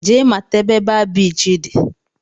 Jee mata ebe baa biichi dị!